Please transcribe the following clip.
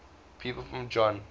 people from tokyo